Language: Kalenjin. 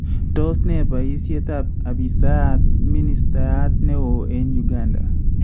Tos ne baayiisyetaab abiisiab minstayaat neo e Uganda?